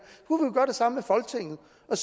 og